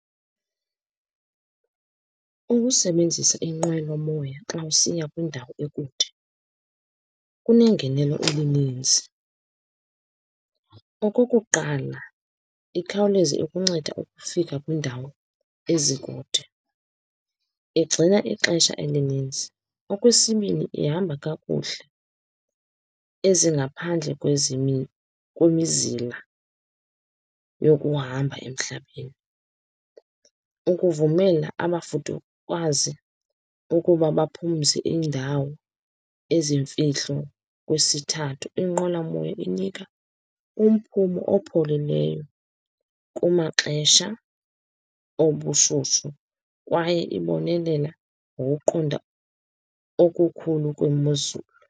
Ukusebenzisa inqwelomoya xa usiya kwindawo ekude kunengenelo elininzi. Okokuqala, ikhawuleza ikunceda ukufika kwiindawo ezikude, igcina ixesha elininzi. Okwesibini, ihamba kakuhle, ezingaphandle kwemizila yokuhamba emhlabeni, ukuvumela abafudukazi ukuba baphumze iindawo ezimfihlo. Kwesithathu, inqwelomoya inika umphumo opholileyo kumaxesha obushushu, kwaye ibonelela ngokokuqonda okukhulu kwemozulu